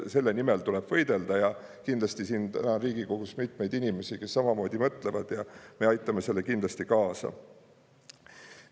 Selle nimel tuleb võidelda ja kindlasti siin täna on Riigikogus mitmeid inimesi, kes samamoodi mõtlevad, ja me aitame sellele kindlasti kaasa.